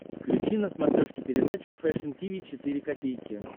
включи на смотрешке передачу фэшн ти ви четыре ка